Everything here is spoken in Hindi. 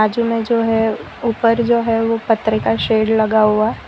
बाजू में जो है ऊपर जो है ओ पतर का शेड लगा हुआ--